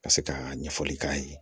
Ka se ka ɲɛfɔli k'a ye